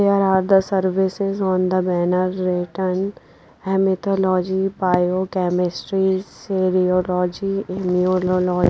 there are the services on the banner written bio chemistry cereology immunolo --